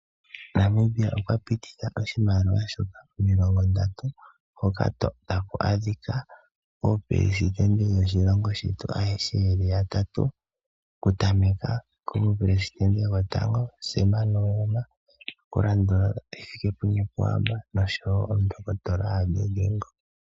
Namibia okwa pititha oshimaliwa shefo N$ 30 hoka ta ku adhika ooperesidente yoshilongo shetu ayehe ye li yatatu, okutameka komuperesidente gwotango Tate Sam Nujoma, taku landula Tate, Hifikepunye Pohamba nosho wo Omundohotola Hage Geingob.